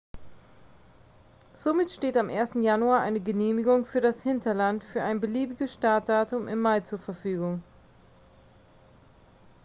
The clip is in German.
somit steht am 1. januar eine genehmigung für das hinterland für ein beliebiges startdatum im mai zur verfügung